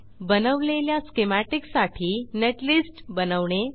बनवलेल्या स्कीमॅटिक साठी नेटलिस्ट बनवणे